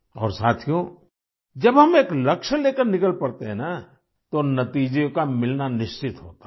और साथियो जब हम एक लक्ष्य लेकर निकल पड़ते हैं न तो नतीजों का मिलना निश्चित होता है